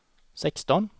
sexton